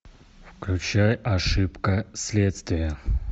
включай ошибка следствия